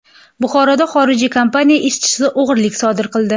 Buxoroda xorijiy kompaniya ishchisi o‘g‘rilik sodir qildi.